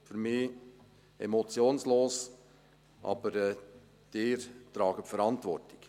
Für mich ist das emotionslos, aber Sie tragen die Verantwortung.